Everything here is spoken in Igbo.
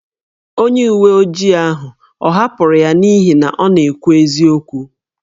Onye uwe ojii ahụ ọ̀ hapụrụ ya n’ihi na ọ na-ekwu eziokwu?